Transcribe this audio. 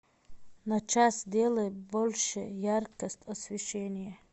на час сделай больше яркость освещения